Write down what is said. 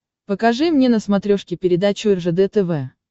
покажи мне на смотрешке передачу ржд тв